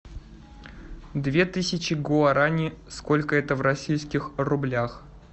две тысячи гуарани сколько это в российских рублях